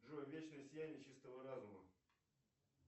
джой вечное сияние чистого разума